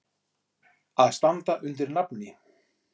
Að standa undir nafni.